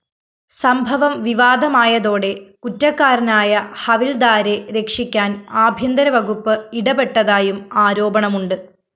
സംഭവം വിവാദമായതോടെ കുറ്റക്കാരനായ ഹവില്‍ദാരെ രക്ഷിക്കാന്‍ ആഭ്യന്തരവകുപ്പ് ഇടപെട്ടതായും ആരോപണമുണ്ട്